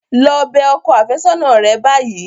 Lọ bẹ ọkọ àfẹ́sọ́nà rẹ báyìí.